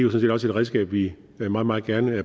et redskab vi vi meget meget gerne